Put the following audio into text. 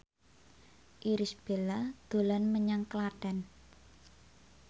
Irish Bella dolan menyang Klaten